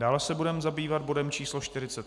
Dále se budeme zabývat bodem číslo